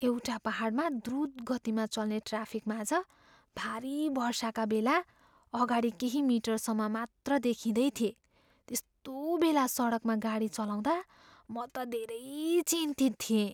एउटा पाहाडमा द्रुत गतिमा चल्ने ट्राफिकमाझ भारी वर्षाका बेला अगाडि केही मिटरसम्म मात्र देखिँदैथिए। त्यस्तो बेला सडकमा गाडी चलाउँदा म त धेरै चिन्तित थिएँ।